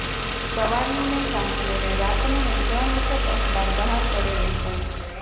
સવારનું ને સાંજનું ને રાતનું એમ ત્રણ વખત અખબાર બહાર પડે એમ બને